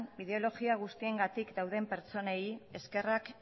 ideologia guztiengatik dauden pertsonei eskerrak